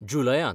जुलयांत.